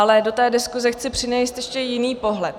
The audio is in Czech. Ale do té diskuse chci přinést ještě jiný pohled.